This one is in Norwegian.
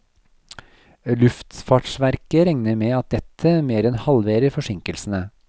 Luftfartsverket regner med at dette mer enn halverer forsinkelsene.